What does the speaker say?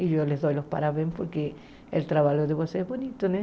E eu lhes dou os parabéns porque o trabalho de vocês é bonito, né?